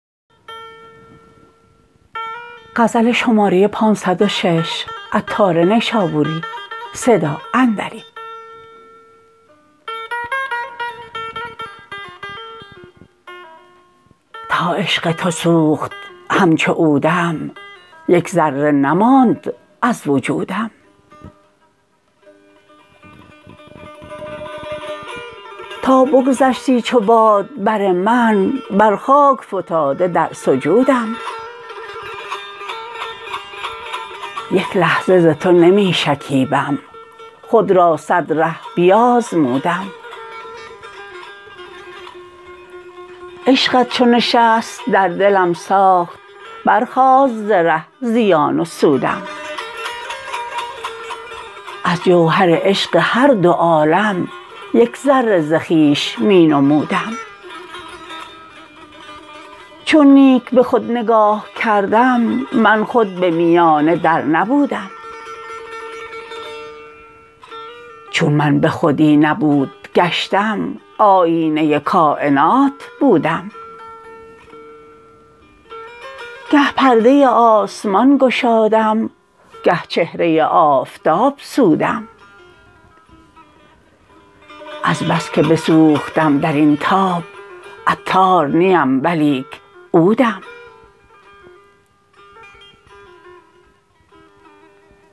تا عشق تو سوخت همچو عودم یک ذره نماند از وجودم تا بگذشتی چو باد بر من بر خاک فتاده در سجودم یک لحظه ز تو نمی شکیبم خود را صد ره بیازمودم عشقت چو نشست در دلم ساخت برخاست ز ره زیان و سودم از جوهر عشق هر دو عالم یک ذره ز خویش می نمودم چون نیک به خود نگاه کردم من خود به میانه در نبودم چون من به خودی نبود گشتم آیینه کاینات بودم گه پرده آسمان گشادم گه چهره آفتاب سودم از بس که بسوختم درین تاب عطار نیم ولیک عودم